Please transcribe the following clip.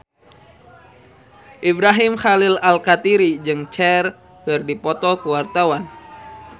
Ibrahim Khalil Alkatiri jeung Cher keur dipoto ku wartawan